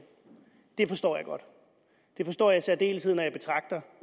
det forstår jeg godt og det forstår jeg i særdeleshed når